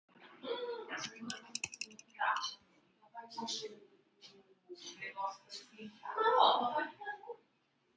Kári talar pólsku.